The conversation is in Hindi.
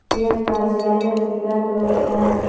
यह कार्यालय पीला कलर का है।